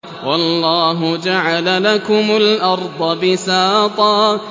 وَاللَّهُ جَعَلَ لَكُمُ الْأَرْضَ بِسَاطًا